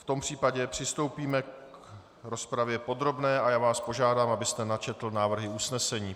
V tom případě přistoupíme k rozpravě podrobné a já vás požádám, abyste načetl návrhy usnesení.